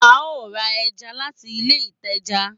A o ra ẹja láti ilé ìtajà